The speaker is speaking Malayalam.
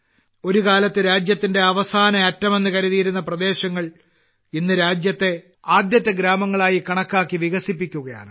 ഒരു കാലത്ത് രാജ്യത്തിന്റെ അവസാന അറ്റം എന്ന് കരുതിയിരുന്ന പ്രദേശങ്ങൾ ഇന്ന് രാജ്യത്തെ ആദ്യത്തെ ഗ്രാമങ്ങളായി കണക്കാക്കി വികസിപ്പിക്കുകയാണ്